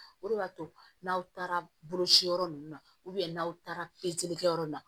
O de y'a to n'aw taara bolociyɔrɔ ninnu na n'aw taara kɛyɔrɔ la